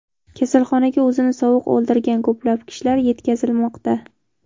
Kasalxonaga o‘zini sovuq oldirgan ko‘plab kishilar yetkazilmoqda.